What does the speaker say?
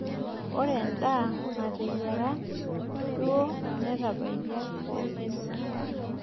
Ore endaa nateyiara duo netabaikia pookin.